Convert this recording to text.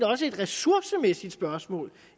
også et ressourcemæssigt spørgsmål